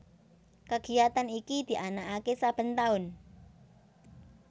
Kagiyatan iki dianakake saben taun